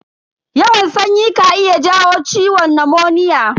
Yawan sanyi ka iya jawo ciwon namoniya.